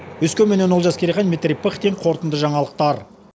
өскеменнен олжас керейхан дмитрий пыхтин қорытынды жаңалықтар